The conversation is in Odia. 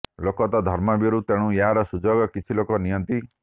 ଲୋକ ତ ଧର୍ମଭୀରୁ ତେଣୁ ଏହାର ସୁଯୋଗ କିଛି ଲୋକ ନିଅନ୍ତି